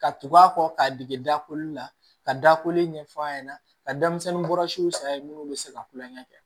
Ka tugu a kɔ k'a dege dakoli la ka dako ɲɛf'a ɲɛna ka denmisɛnnin bɔra siw saraye minnu bɛ se ka kulonkɛ kɛ